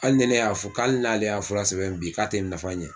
Hali ni ne y'a fɔ, k'ale y'a fura sɛbɛn bi k'a tɛ nafa ɲɛ.